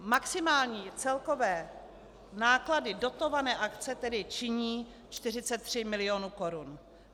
Maximální celkové náklady dotované akce tedy činí 43 mil. korun.